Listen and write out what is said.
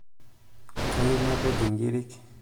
kayieu napej ikirik